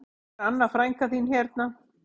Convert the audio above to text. Þetta er Anna frænka þín hérna